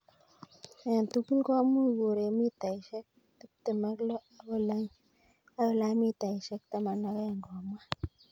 Eng' tugul komuch koreg mitaisiek 26 akolany mitaisiek 12, komwa.